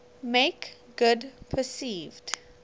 make good perceived